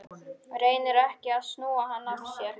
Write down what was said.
Reynir ekki að snúa hann af sér.